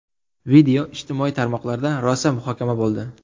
Video ijtimoiy tarmoqlarda rosa muhokama bo‘ldi.